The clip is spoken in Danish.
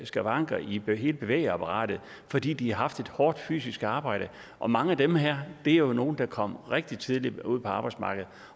skavanker i hele bevægeapparatet fordi de har haft et hårdt fysisk arbejde og mange af dem her er jo nogle der kom rigtig tidligt ud på arbejdsmarkedet